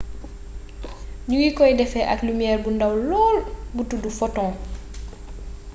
ñu ngi koy defee ak lumiere bu ndaw lool bu tuddu photon